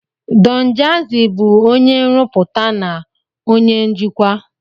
Don Jazi bụ onye nrụpụta na onye njikwa.